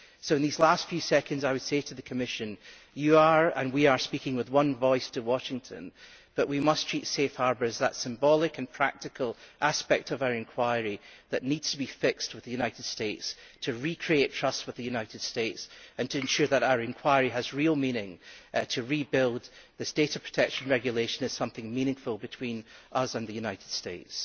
So in these last few seconds I would say to the Commission you and we are speaking with one voice to Washington, but we must treat Safe Harbour as that symbolic and practical aspect of our inquiry that needs to be fixed with the United States in order to recreate trust with the United States and to ensure that our inquiry has real meaning in rebuilding the regulation of protection as something meaningful between us and the United States.